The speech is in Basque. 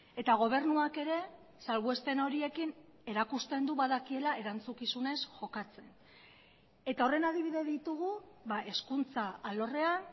eta gobernuak ere salbuespen horiekin erakusten du badakiela erantzukizunez jokatzen eta horren adibide ditugu hezkuntza alorrean